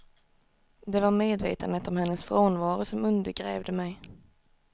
Det var medvetandet om hennes frånvaro som undergrävde mig.